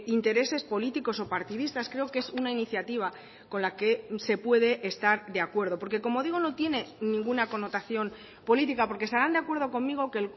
intereses políticos o partidistas creo que es una iniciativa con la que se puede estar de acuerdo porque como digo no tiene ninguna connotación política porque estarán de acuerdo conmigo que